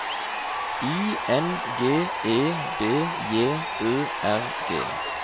I N G E B J Ø R G